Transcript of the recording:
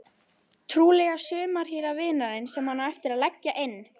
Trúlega sumarhýra vinarins sem hann á eftir að leggja inn.